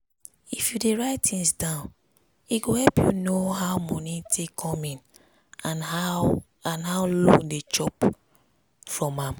if you dey write things down e go help you know how moni take come in and how and how loan dey chop from am.